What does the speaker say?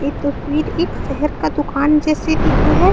ये तस्वीर एक शहर का दूकान जैसे दिख रहा है।